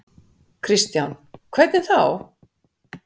Kristján: Hvernig þá?